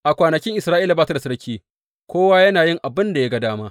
A kwanakin Isra’ila ba ta da sarki; kowa yana yin abin da ya ga dama.